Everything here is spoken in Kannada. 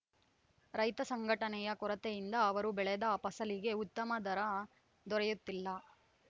ರೈತ ಸಂಘಟನೆಯ ಕೊರತೆಯಿಂದ ಅವರು ಬೆಳೆದ ಫಸಲಿಗೆ ಉತ್ತಮ ದರ ದೊರೆಯುತ್ತಿಲ್ಲ